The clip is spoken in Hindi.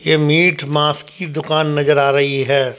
यह मीट मांस की दुकान नजर आ रही है।